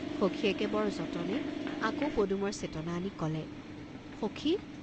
সখীয়েকে বৰ যতনে আকৌ পদুমৰ চেতনা আনি কলে, "সখি!